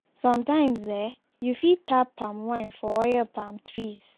sometimes eh you fit tap palm wine from oil palm trees